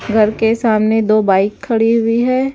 घर के सामने दो बाइक खड़ी हुई हैं।